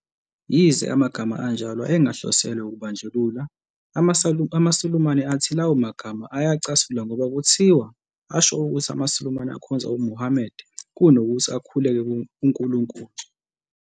Yize amagama anjalo ayengahloselwe ukubandlulula, amaSulumane athi lawo magama ayacasula ngoba kuthiwa asho ukuthi amaSulumane akhonza uMuhammad kunokuthi akhulekele uNkulunkulu.